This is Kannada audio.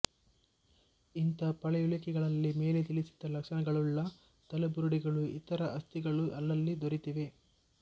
ಇಂಥ ಪಳೆಯುಳಿಕೆಗಳಲ್ಲಿ ಮೇಲೆ ತಿಳಿಸಿದ ಲಕ್ಷಣಗಳುಳ್ಳ ತಲೆಬುರುಡೆಗಳೂ ಇತರ ಅಸ್ಥಿಗಳೂ ಅಲ್ಲಲ್ಲಿ ದೊರೆತಿವೆ